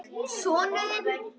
Sonur þinn.